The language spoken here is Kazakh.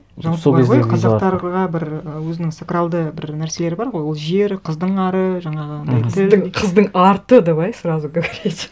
жалпы бар ғой қазақтарға бір өзінің сакралды бір нәрселері бар ғой ол жері қыздың ары жаңағы қыздың арты давай сразу говорить